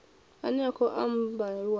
ane a khou ambiwa afha